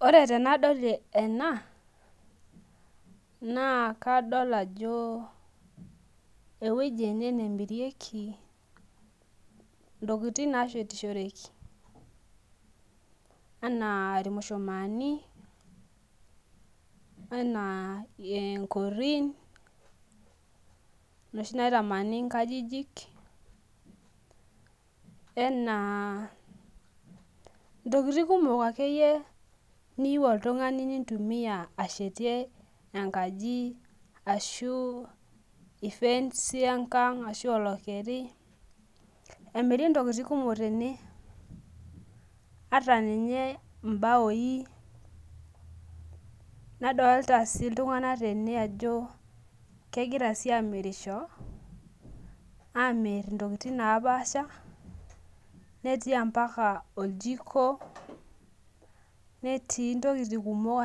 Ore tanadol ena na kadol ajo ewoi ene nemirikei ntokitin nashetishoreki ana irmushumani ana nkorin noshi naitamani nkajijik ena ntokitin kumok akeyie niyieu oltungani nintumia enkaji ashu olokeri emiri ntokitin kumok tene ata nye mbaoi nadolta si ltunganak tenebajo kegira amirisho amir ntokitin napaasha netiubmbaka orjiko netii akeyie ntokitin kumok